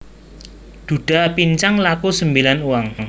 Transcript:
Dhudha pincang laku sembilan uang